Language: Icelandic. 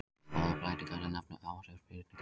Báðar breytingarnar eru nefndar áhrifsbreytingar.